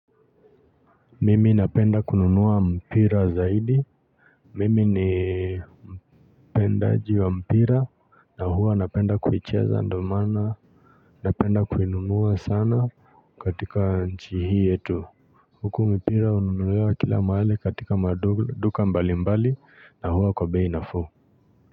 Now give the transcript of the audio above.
Mimi napenda kununua mpira zaidi. Mimi ni mpendaji wa mpira na huwa napenda kulicheza ndo mana napenda kulinunua sana katika nchi hii yetu. Huku mpira ununuliwa kila mahali katika maduka mbalimbali na huwa kwa bei nafuu.